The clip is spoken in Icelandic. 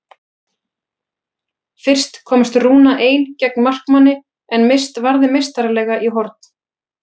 Fyrst komst Rúna ein gegn markmanni en Mist varði meistaralega í horn.